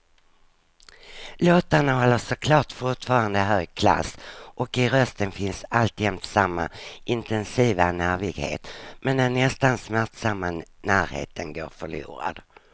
Låtarna håller såklart fortfarande hög klass och i rösten finns alltjämt samma intensiva nervighet, men den nästan smärtsamma närheten går förlorad.